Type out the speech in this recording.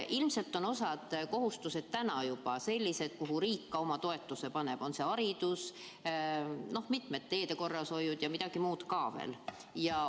Ilmselt on osa kohustusi täna juba sellised, mida ka riik toetab, näiteks haridus, teede korrashoid ja midagi veel.